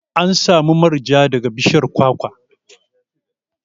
Ana samun manja daga bishiyar kwakwa.